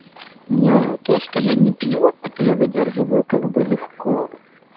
не то что я не пью это я выдерживаю как бы легко